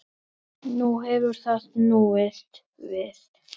Nú hefur það snúist við.